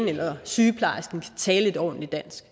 eller sygeplejersken kan tale et ordentligt dansk